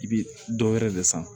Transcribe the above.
I bi dɔ wɛrɛ de san